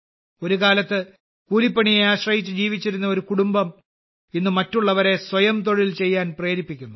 ഒരുകാലത്ത് കൂലിപ്പണിയെ ആശ്രയിച്ച് ജീവിച്ചിരുന്ന ഒരു കുടുംബം ഇന്ന് മറ്റുള്ളവരെ സ്വയം തൊഴിൽ ചെയ്യാൻ പ്രേരിപ്പിക്കുന്നു